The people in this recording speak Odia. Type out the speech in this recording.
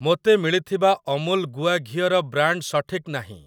ମୋତେ ମିଳିଥିବା ଅମୁଲ ଗୁଆ ଘିଅ ର ବ୍ରାଣ୍ଡ୍‌‌ ସଠିକ୍ ନାହିଁ ।